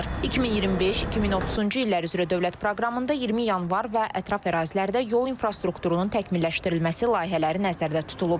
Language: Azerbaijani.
2025-2030-cu illər üzrə dövlət proqramında 20 Yanvar və ətraf ərazilərdə yol infrastrukturunun təkmilləşdirilməsi layihələri nəzərdə tutulub.